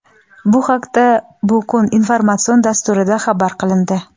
Bu haqda "Bu kun" informatsion dasturida xabar qilindi.